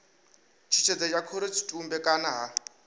tshutshedzo ya khorotshitumbe kana ha